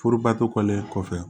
Furubatolen kɔfɛ